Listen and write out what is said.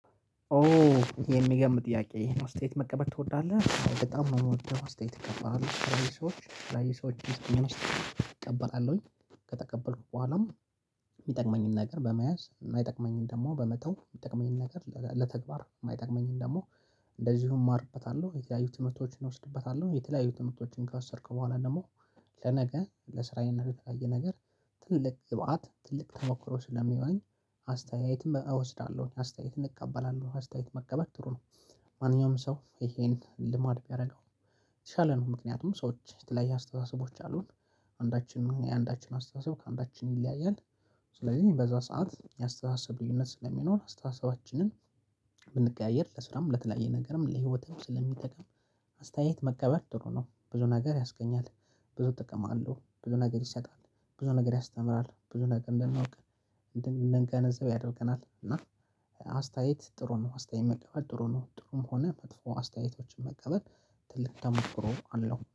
ኦ የሚገርም ጥያቄ ይሄን አስተያየት መቀበል ትወዳለህ? በጣም ነው የምወደው አስተያየት እቀበላለሁኝ ሰዎች ላይ የተለያዩ ሰዎች የሚሰጡኝን አስተያየት እቀበላለሁኝ ከተቀበልኩ በኋላም የሚጠቅመኝን ነገር በመያዝ የጠቅመኝንም ደግሞ በመተው የሚጠቅመኝን ነገር ለተግባር የማይጠቅመኝን ደግሞ እንደዚሁም እማርበታለሁ የተለያዩ ትምህርቶችን እወስድበታለሁ የተለያዩ ትምህርቶችን ከወሰድክ በኋላ ደግሞ ለነገ ለስራዬ እና ለተለያየ ነገር ትልቅ ግብአት ትልቅ ተሞክሮ ስለሚሆነኝ አስተያየትም እወስዳለሁ አስተያየትን እቀበላለሁ አስተያየት መቀበል ጥሩ ነው። ማንኛውም ሰው ይሄን ልማድ ቢያደርገው የተሻለ ነው ምክንያቱም ሰዎች የተለያየ አስተሳሰቦች አሉን አንዳችን የአንዳችን አስተሳሰብ ከአንዳችን ይለያያል። ስለዚህ በዛ ሰዓት የአስተሳሰብ ልዩነት ስለሚኖር አስተሳሰባችንን ብንቀያየር ለስራም ለተለያየ ነገርም ለህይወትም ስለሚጠቅም አስተያየት መቀበል ጥሩ ነው። ብዙ ነገር ያስገኛል ብዙ ጠቀም አለው ብዙ ነገር ይሰጣል ብዙ ነገር ያስተምራል ብዙ ነገር እንደናውቅ እንድንገነዘብ ያደርገናል። እና አስተያየት ጥሩ ነው አስተያየት መቀበል ጥሩ ነው ጥሩም ሆነ መጥፎ አስተያየቶችን መቀበል ትልቅ ተሞክሮ አለው